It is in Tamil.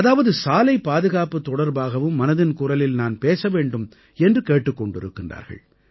அதாவது சாலைப் பாதுகாப்பு தொடர்பாகவும் மனதின் குரலில் நான் பேச வேண்டும் என்று கேட்டுக் கொண்டிருக்கின்றார்கள்